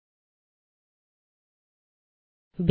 ஆரம்பிக்க